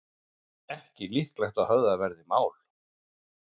Ekki líklegt að höfðað verði mál